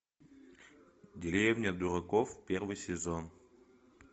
деревня дураков первый сезон